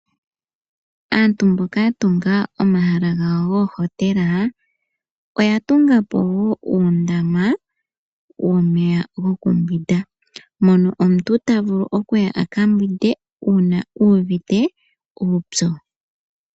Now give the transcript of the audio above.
Aantu mboka ya tunga omahala gawo goohotela oya tunga po wo uundama womeya go ku mbwinda. Mono omuntu ta vulu okuya a ka mbwinde uuna uuvite uupyu.